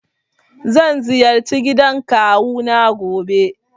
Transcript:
Zan ziyarci gidan kawu na gobe.